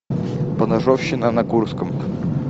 поножовщина на курском